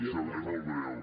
sí seré molt breu